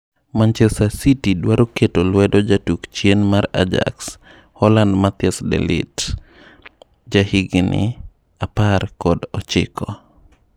Manchester Cuty dwaro keto lwedo jatuk chien mar Ajax ma aa Holland Matthijs De Light, jahigi apar kod ochiko.